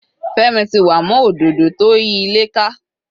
Femi ti wà mọ́ òdodo tó yí ilé ká.